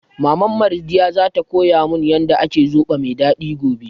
Maman Mardiyya za ta koya mun yanda ake zobo mai daɗi gobe